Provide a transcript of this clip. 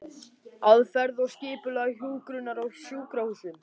Aðferðir og skipulag hjúkrunar á sjúkrahúsum